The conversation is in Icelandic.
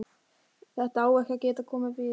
Þetta á ekki að geta komið fyrir.